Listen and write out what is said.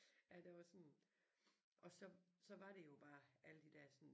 Ja der var sådan og så så var det jo bare alle de der sådan